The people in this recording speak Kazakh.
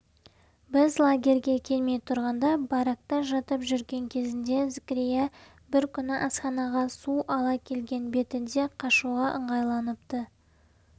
біз лагерьге келмей тұрғанда баракта жатып жүрген кезінде зікірия бір күні асханаға су ала келген бетінде қашуға ыңғайланыпты